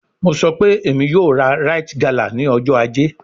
Mo sọ pe Emi yoo ra rite gala ni ọjọ aje